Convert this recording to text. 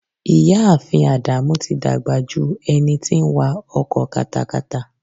Ìyá ààfin Ádámù tí dàgbà ju ẹni tí ń wa ọkọ katakata.